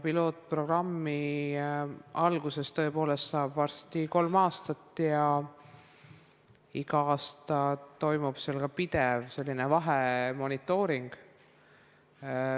Pilootprogrammi algusest saab tõepoolest varsti kolm aastat ja igal aastal toimub seal ka vahemonitooring.